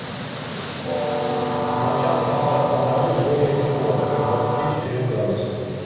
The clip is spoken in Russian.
на час поставь в кладовой более тепло до двадцати четырех градусов